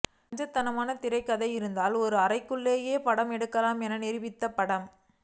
கச்சிதமான திரைக்கதை இருந்தால் ஒரு அறைக்குள்ளேயே படம் எடுக்கலாம் என்று நிரூபித்த படம்